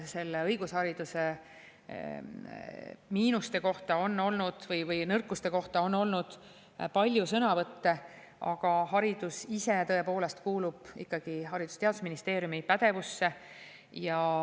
Selle õigushariduse miinuste või nõrkuste kohta on olnud palju sõnavõtte, aga haridus ise tõepoolest kuulub ikkagi Haridus‑ ja Teadusministeeriumi pädevusse.